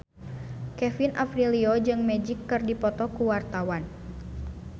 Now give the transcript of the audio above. Kevin Aprilio jeung Magic keur dipoto ku wartawan